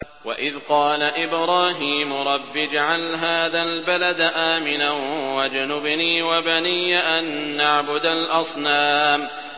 وَإِذْ قَالَ إِبْرَاهِيمُ رَبِّ اجْعَلْ هَٰذَا الْبَلَدَ آمِنًا وَاجْنُبْنِي وَبَنِيَّ أَن نَّعْبُدَ الْأَصْنَامَ